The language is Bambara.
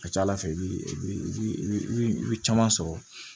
A ka ca ala fɛ i bi i bi caman sɔrɔ